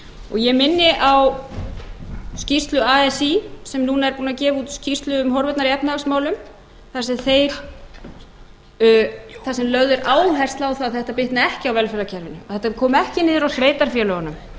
og ég minni á skýrslu así sem núna er búin að gefa út skýrslu um horfurnar í efnahagsmálum þar sem lögð er áhersla á að þetta bitni ekki á velferðarkerfinu að þetta komi ekki niður á sveitarfélögunum og sveitarfélögin jafnvel komi